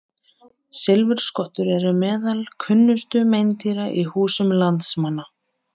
Silfurskottur eru meðal kunnustu meindýra í húsum landsmanna.